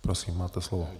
Prosím, máte slovo.